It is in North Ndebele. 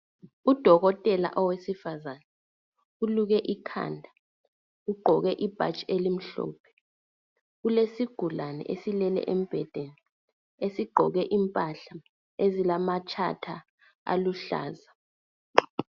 Udokotela owesifazane uluke ikhanda ugqoke ibhatshi elimhlophe. Kulesigulane esilele embhedeni esigqoke impahla ezilamatshatha aluhlaza.